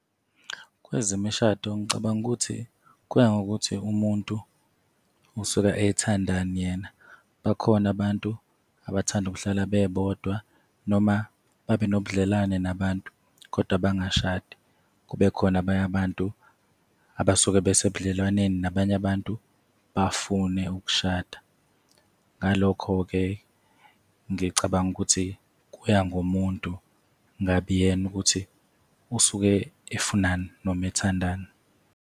Kwezemishado, ngicabanga ukuthi kuya ngokuthi umuntu osuke ethandani yena. Bakhona abantu abathanda ukuhlala bebodwa, noma babe nobudlelwane nabantu kodwa bangashadi. Kube khona abanye abantu abasuke besebudlelwaneni nabanye abantu bafune ukushada. Ngalokho-ke, ngicabanga ukuthi kuya ngomuntu ngabe uyena ukuthi usuke efunani, noma ethandani.